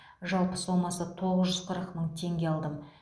жалпы сомасы тоғыз жүз қырық мың теңге алдым